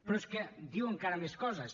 però és que diu encara més coses